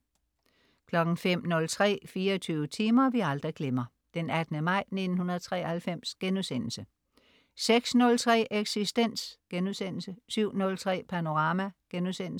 05.03 24 timer vi aldrig glemmer: 18. maj 1993* 06.03 Eksistens* 07.03 Panorama*